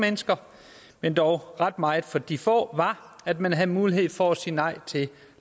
mennesker men dog ret meget for de få var at man havde mulighed for at sige nej til